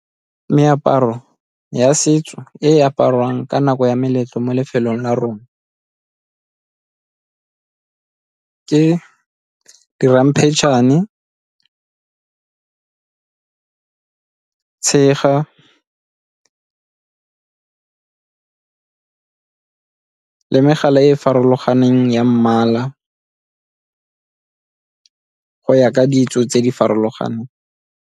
Meaparo ya setso e apariwang ka nako ya meletlo mo lefelong la rona ke di ramphetšhane, tshega le megala e e farologaneng ya mmala go ya ka ditso tse di farologaneng.